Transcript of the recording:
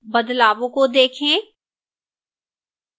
बदलावों को देखें